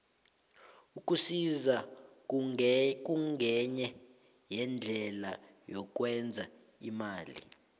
ukusisa kungenye yeendlela yokwenza imali